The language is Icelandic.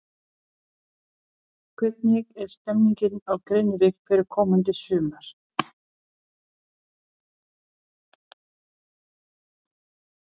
Hvernig er stemmingin á Grenivík fyrir komandi sumar?